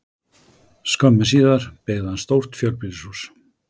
Skömmu síðar byggði hann stórt fjölbýlishús.